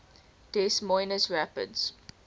des moines rapids